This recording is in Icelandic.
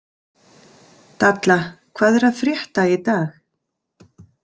Dalla, hvað er að frétta í dag?